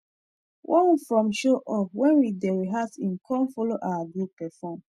[] one from show up when we dey rehearse him come follow our group perform